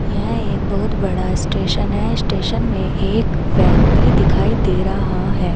यह एक बहुत बड़ा स्टेशन है स्टेशन में एक व्यक्ति दिखाई दे रहा है।